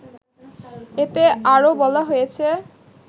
এতে আরও বলা হয়েছে